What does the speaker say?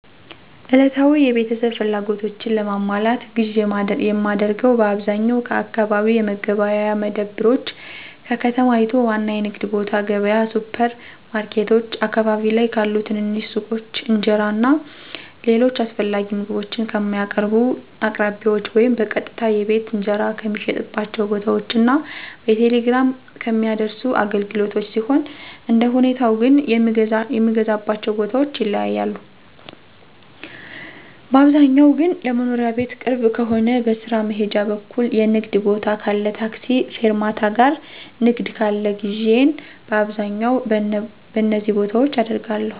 ዕለታዊ የቤተሰብ ፍላጎቶችን ለማሟላት ግዥ የማደርገው በአብዛኛው ከአካባቢ የመገበያያ መደብሮች፣ ከከተማይቱ ዋና የንግድ ቦታ ገብያ፣ ሱፐር ማርኬቶች፣ አካባቢ ላይ ካሉ ትንንሽ ሱቆች፣ እንጀራ እና ሌሎች አስፈላጊ ምግቦችን ከሚያቀርቡ አቅራቢዎች ወይም በቀጥታ የቤት እንጀራ ከሚሸጥባቸው ቦታዎች እና በቴሌግራም ከሚያደርሱ አገልግሎቶች ሲሆን አንደሁኔታው ግን የምገዛባቸው ቦታዎች ይለያያሉ, ባብዛኛው ግን ለመኖሪያ ቤት ቅርብ ከሆነ, በስራ መሄጃ በኩል የንግድ ቦታ ካለ ,ታክሲ ፌርማታ ጋር ንግድ ካለ ግዢየን በአብዛኛው በነዚ ቦታዎች አደርጋለሁ።